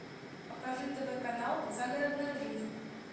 покажи тв канал загородная жизнь